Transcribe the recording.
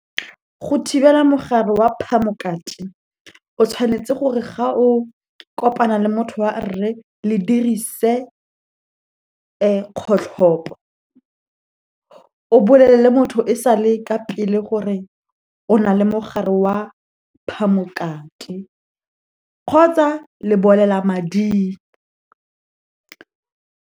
Go thibela mogare wa phamokate, o tshwanetse gore ga o kopana le motho wa rre le dirise kgotlhopo. O bolelele motho e sale ka pele gore o na le mogare wa phamokate, kgotsa lebolelamading.